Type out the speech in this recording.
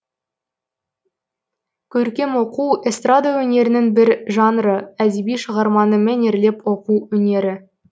көркем оқу эстрада өнерінің бір жанры әдеби шығарманы мәнерлеп оқу өнері